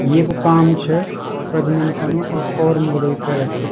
येकु काम छ प्रजनन कनो और मुरगा भी पैदा कना।